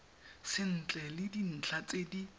sentle le dintlha tse di